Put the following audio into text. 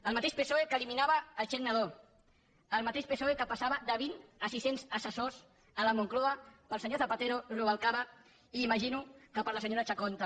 el mateix psoe que eliminava el xec nadó el mateix psoe que passava de vint a sis cents assessors a la moncloa per al senyor zapatero rubalcaba i imagino que per a la senyora chacón també